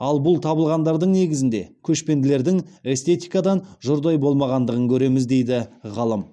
ал бұл табылғандардың негізінде көшпенділердің эстетикадан жұрдай болмағандығын көреміз дейді ғалым